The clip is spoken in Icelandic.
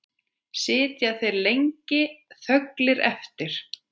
Sitja þeir lengi þögulir eftir.